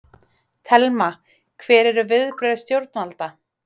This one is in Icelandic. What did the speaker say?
Telma: Hver eru viðbrögð stjórnvalda?